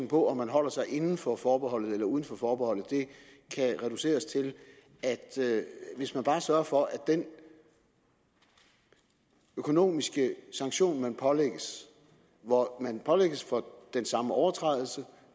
på om man holder sig inden for forbeholdet eller uden for forbeholdet kan reduceres til at hvis man bare sørger for at den økonomiske sanktion man pålægges hvor man pålægges for den samme overtrædelse